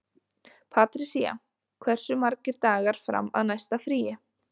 Patrisía, hversu margir dagar fram að næsta fríi?